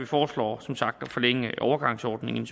foreslår at forlænge overgangsordningen